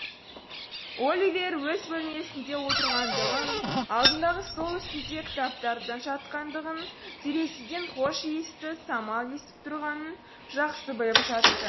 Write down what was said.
оливер өз бөлмесінде отырғандығын алдындағы стол үстінде кітаптардың жатқандығын терезеден хош иісті самал есіп тұрғанын жақсы біліп жатты